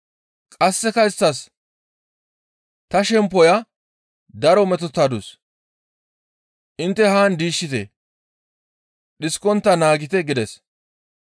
Qasseka isttas, «Ta shemppoya daro metotadus intte haan diishshite. Dhiskontta naagite» gides.